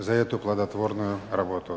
за эту плодотворную работу